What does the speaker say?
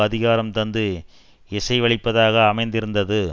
அதிகாரம் தந்து இசைவளிப்பதாக அமைந்திருந்தது